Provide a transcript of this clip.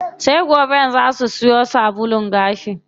Sai goben zaa su siyo sabulun gashi.